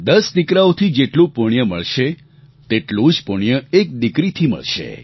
દસ દીકરાઓથી જેટલું પુણ્ય મળશે તેટલું જ પુણ્ય એક દીકરીથી મળશે